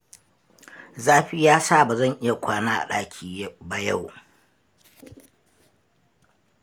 Zafi ya sa ba zan iya kwana a ɗaki ba yau,